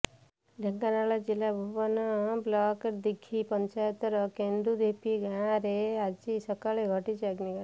ଢେଙ୍କାନାଳ ଜିଲ୍ଲା ଭୁବନ ବ୍ଲକ ଦିଘି ପଂଚାୟତର କେନ୍ଦୁଢିପି ଗାଁରେ ଆଜି ସକାଳେ ଘଟିଛି ଅଗ୍ନିକାଣ୍ଡ